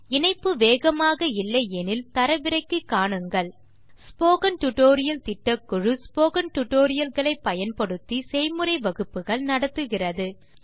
வேகமான இணைப்பு இல்லையானல் தரவிறக்கி காண்க ஸ்போக்கன் டியூட்டோரியல் திட்டக்குழு ஸ்போக்கன் டியூட்டோரியல் களை பயன்படுத்தி செய்முறை வகுப்புகள் நடத்துகிறது